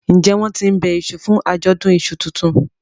njé wón tín ńbe iṣu fún Ajọdun iṣu títún?